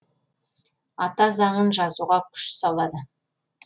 ата заңын жазуға күш салады